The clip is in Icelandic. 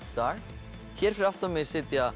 dag hér fyrir aftan mig sitja